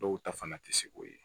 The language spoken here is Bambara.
Dɔw ta fana ti se k'o ye